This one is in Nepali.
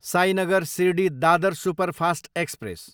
Sainagar Shirdi, Dadar superfast express